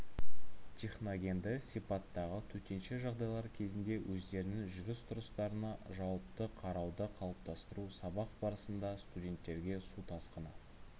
техногенді сипаттағы төтенше жағдайлар кезінде өздерінің жүріс-тұрыстарына жауапты қарауды қалыптастыру сабақ барысында студенттерге су тасқыны